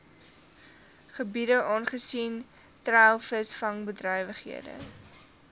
gebiede aangesien treilvisvangbedrywighede